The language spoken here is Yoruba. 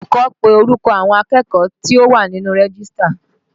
Olùkọ́ pe orúkọ àwọn akẹ́kọ̀ọ́ tí ó wà nínú rẹ́gístà